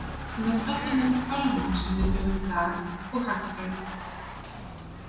Með öllum þeim tölvum sem við höfum í dag og hagfræði.